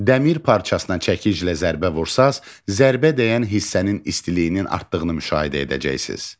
Dəmir parçasına çəkiclə zərbə vursanız, zərbə dəyən hissənin istiliyinin artdığını müşahidə edəcəksiniz.